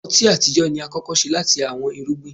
ọti atijọ ni akọkọ ṣe lati awọn irugbin.